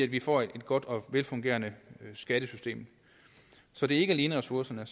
vi får et godt og velfungerende skattesystem så det er ikke alene ressourcerne